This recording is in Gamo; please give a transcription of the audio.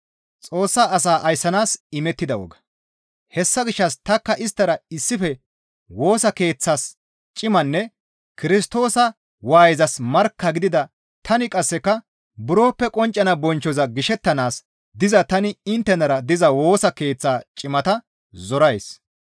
Hessa gishshas tanikka isttara issife Woosa Keeththas cimanne Kirstoosa waayezas markka gidida tani qasseka buroppe qonccana bonchchoza gishettanaas diza tani inttenara diza Woosa Keeththa cimata zorays.